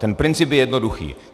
Ten princip je jednoduchý.